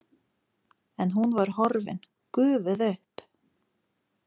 En hún var horfin, gufuð upp.